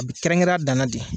A bɛ kɛrɛnkɛ a dana de